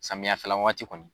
Samiyɛ fɛla waati kɔnɔ